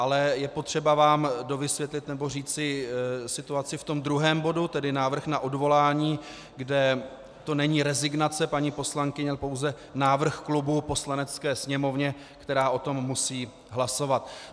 Ale je potřeba vám dovysvětlit nebo říci situaci v tom druhém bodu, tedy návrh na odvolání, kde to není rezignace paní poslankyně, ale pouze návrh klubu Poslanecké sněmovně, která o tom musí hlasovat.